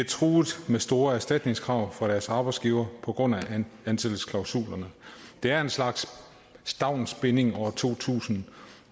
truet med store erstatningskrav af deres arbejdsgiver på grund af ansættelsesklausulerne det er en slags stavnsbinding år to tusind